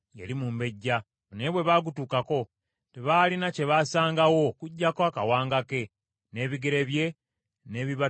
Naye bwe bagutuukako, tebaalina kye basangawo okuggyako akawanga ke, n’ebigere bye, n’ebibatu by’emikono gye.